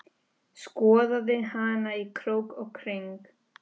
Skoðaði hana í krók og kring.